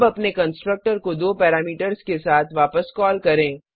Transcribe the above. अब अपने कंस्ट्रक्टर को दो पैरामीटर्स के साथ वापस कॉल करें